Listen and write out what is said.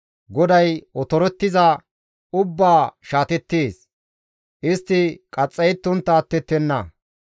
GODAY otorettiza ubbaa shaatettees; istti qaxxayettontta attettenna.